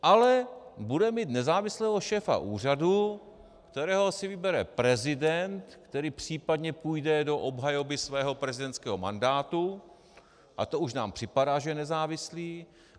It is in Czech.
Ale budeme mít nezávislého šéfa úřadu, kterého si vybere prezident, který případně půjde do obhajoby svého prezidentského mandátu - a to už nám připadá, že je nezávislý.